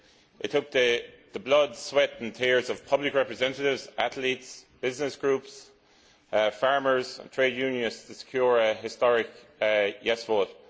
It took the blood, sweat and tears of public representatives, athletes, business groups, farmers and trade unionists to secure a historic yes' vote.